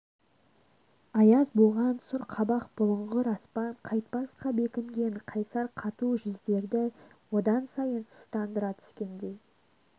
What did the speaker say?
аяз буған сұр қабақ бұлыңғыр аспан қайтпасқа бекінген қайсар қату жүздерді одан сайын сұстандыра түскендей